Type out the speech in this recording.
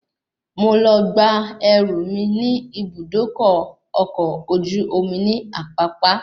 Mo lọ gba ẹrú mí ní Ibùdókọ̀ ọkọ̀ ojú omi ní Apapa